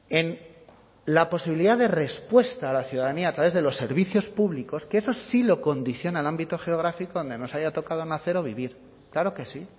en la posibilidad de respuesta a la ciudadanía a través de los servicios públicos que esos sí lo condiciona el ámbito geográfico donde nos haya tocado nacer o vivir claro que sí